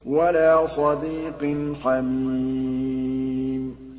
وَلَا صَدِيقٍ حَمِيمٍ